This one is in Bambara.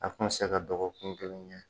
A kun mi se ka dɔgɔkun kelen kɛ